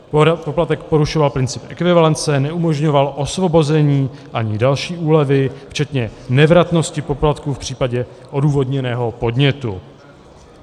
Poplatek porušoval princip ekvivalence, neumožňoval osvobození ani další úlevy včetně nevratnosti poplatku v případě odůvodněného podnětu.